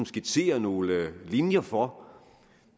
skitsere nogle linjer for